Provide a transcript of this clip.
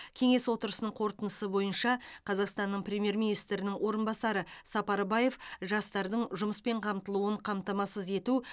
кеңес отырысының қорытындысы бойынша қазақстанның премьер министрінің орынбасары сапарбаев жастардың жұмыспен қамтылуын қамтамасыз ету